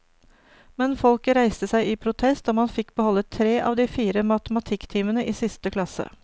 Men folket reiste seg i protest, og man fikk beholde tre av de fire matematikktimene i siste klasse.